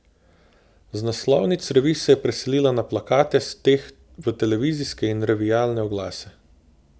Z naslovnic revij se je preselila na plakate, s teh v televizijske in revijalne oglase.